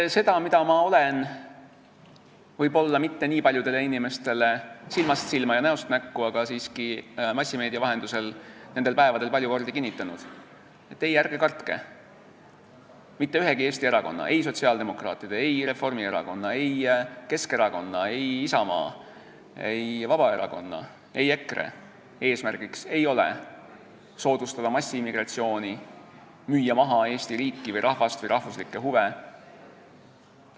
Eks seda, mida ma olen silmast silma ja näost näkku võib-olla mitte nii paljudele inimestele, aga massimeedia vahendusel nendel päevadel siiski palju kordi kinnitanud: ärge kartke, mitte ühegi Eesti erakonna, ei sotsiaaldemokraatide, ei Reformierakonna, ei Keskerakonna, ei Isamaa, ei Vabaerakonna, ei EKRE eesmärk ei ole soodustada massiimmigratsiooni, müüa maha Eesti riiki või rahvast või rahvuslikke huve.